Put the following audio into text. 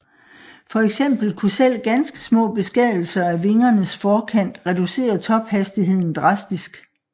For eksempel kunne selv ganske små beskadigelser af vingernes forkant reducere tophastigheden drastisk